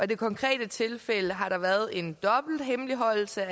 det konkrete tilfælde har der været en dobbelt hemmeligholdelse